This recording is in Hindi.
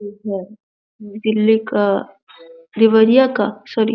ये घर दिल्ली का देवरिया का सॉरी --